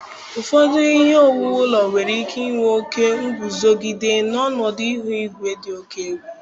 Ụfọdụ ihe owuwu ụlọ nwere ike inwe oke nguzogide ọnọdụ ihu igwe dị oke egwu.